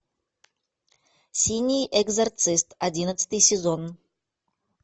синий экзорцист одиннадцатый сезон